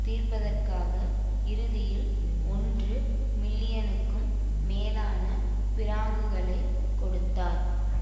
தீர்ப்பதற்காக இறுதியில் ஒன்று மில்லியனுக்கும் மேலான பிராங்குகளைக் கொடுத்தார்